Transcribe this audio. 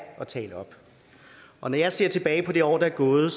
at tale op og når jeg ser tilbage på det år der er gået